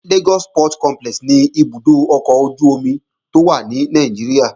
Lagos Port Complex ni ibùdó ọkọ̀ ojú-omi tó wà ní Nàìjíríà